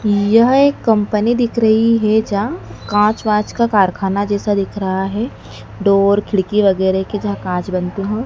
यह एक कंपनी दिख रही है जहाँ कांच वांच का कारखाना जैसा दिख रहा है डोर खिड़की वगैरा के जहां कांच बनते हो।